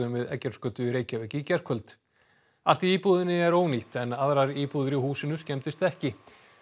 við Eggertsgötu í Reykjavík í gærkvöld allt í íbúðinni er ónýtt en aðrar íbúðir í húsinu skemmdust ekki